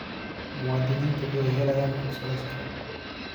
Muwaadiniintu waxay helaan fursado shaqo.